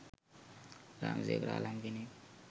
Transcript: ග්‍රාම සේවක රාලහාමි කෙනෙක්.